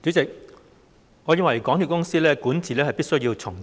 主席，我認為香港鐵路有限公司的管治必須重整。